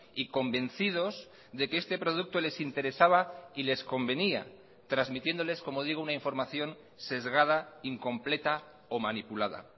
y convencidos de que este producto les interesaba y les convenía transmitiéndoles como digo una información sesgada incompleta o manipulada